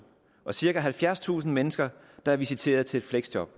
og cirka halvfjerdstusind mennesker der er visiteret til et fleksjob